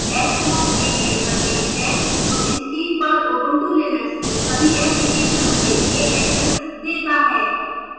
dash home एक interface है जो screen पर ubuntu linux में सभी applications के लिए access देता है